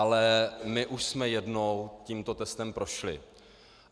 Ale my už jsme jednou tímto testem prošli.